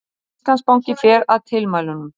Íslandsbanki fer að tilmælunum